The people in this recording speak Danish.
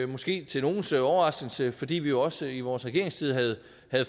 måske til nogles overraskelse fordi vi jo også i vores regeringstid havde